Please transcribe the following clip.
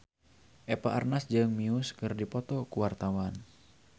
Eva Arnaz jeung Muse keur dipoto ku wartawan